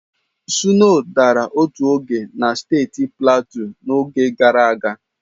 Sno dara otu oge na steeti Platu n'oge gara aga.